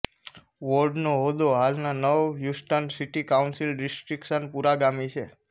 વોર્ડનો હોદ્દો હાલના નવ હ્યુસ્ટન સિટી કાઉન્સિલ ડિસ્ટ્રિક્ટ્સના પુરાગામી છે